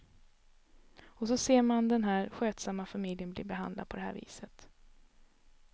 Och så ser man den här skötsamma familjen bli behandlad på det här viset.